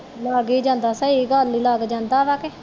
ਲੱਗ ਹੀ ਜਾਂਦਾ ਸਹੀ ਗੱਲ ਹੀ ਲੱਗ ਜਾਂਦਾ ਵਾ ਕਿ